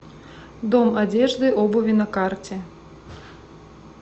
дом одежды обуви на карте